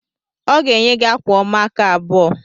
Ọ ga-enye gị akwa ọma aka abụọ